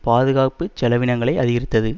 பாதுகாப்பு செலவினங்களை அதிகரித்தது